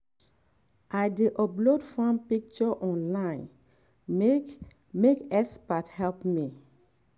i dey upload farm picture online make make expert help me.